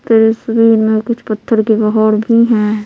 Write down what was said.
तेरे शरीर में कुछ पत्थर के बहर भी हैं।